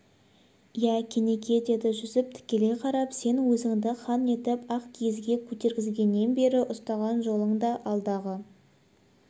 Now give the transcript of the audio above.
иә кенеке деді жүсіп тікелей қарап сен өзіңді хан етіп ақ кигізге көтерткізгеннен бері ұстаған жолың да алдағы